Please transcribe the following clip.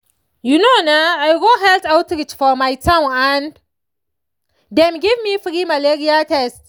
you know na i go health outreach for my town and dem give me free malaria test.